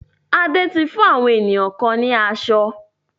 Ade ti fún àwọn ènìyàn kan ni aṣọ?